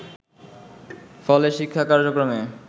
ফলে শিক্ষা কার্যক্রমে